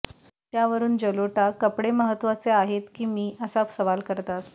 त्यावरून जलोटा कपडे महत्त्वाचे आहेत की मी असा सवाल करतात